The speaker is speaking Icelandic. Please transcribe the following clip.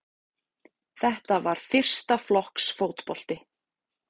Þetta var fyrsta flokks fótbolti